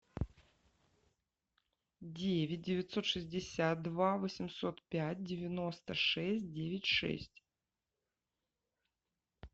девять девятьсот шестьдесят два восемьсот пять девяносто шесть девять шесть